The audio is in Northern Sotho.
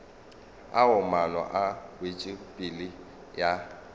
ao maano a wetšopele ya